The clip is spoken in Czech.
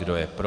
Kdo je pro?